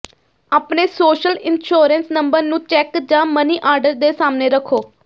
ਆਪਣੇ social insurance number ਨੂੰ cheque ਜਾਂ ਮਨੀ ਆਰਡਰ ਦੇ ਸਾਹਮਣੇ ਰੱਖੋ